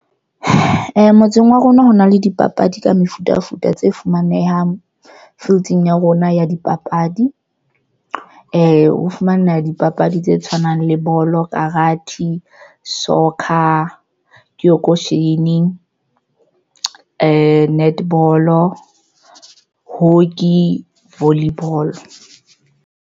Motseng wa rona ho na le dipapadi ka mefutafuta tse fumanehang fielding ya rona ya dipapadi, ho fumaneha dipapadi tse tshwanang le bolo, karate, soccer, ke auction, netball, hockey, volley ball.